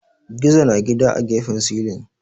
Gizo na gidan a gefen silin